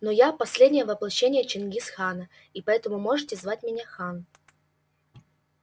но я последнее воплощение чингис хана и поэтому можешь звать меня хан